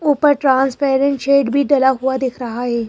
ऊपर transparent shade भी डला हुआ दिख रहा है।